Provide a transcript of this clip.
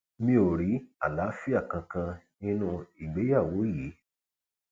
mi ò rí àlàáfíà kankan nínú ìgbéyàwó yìí